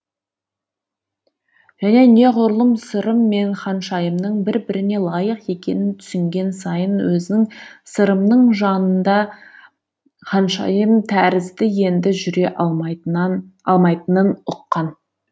және неғұрлым сырым мен ханшайымның бір біріне лайық екенін түсінген сайын өзінің сырымның жанында ханшайым тәрізді енді жүре алмайтынын ұққан